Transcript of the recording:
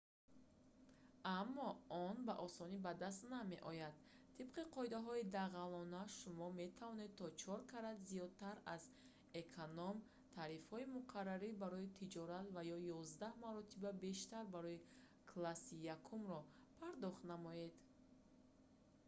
аммо он ба осонӣ ба даст намеояд тибқи қоидаҳои дағалона шумо метавон то чор карат зиёдтар аз эконом-тарифаҳои муқаррарӣ барои тиҷорат ва то ёздаҳ маротиба бештар барои класси якумро пардохт намоед